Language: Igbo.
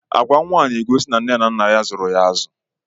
Agwa nwa a na-egosi na nne na nna ya zụrụ ya azụ.